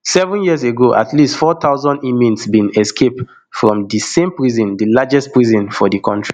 seven years ago at least four thousand inmates bin escape from di same prison di largest prison for di kontri